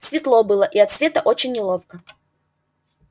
светло было и от света очень неловко